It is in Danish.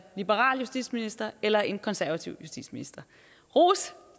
liberal justitsminister eller en konservativ justitsminister ros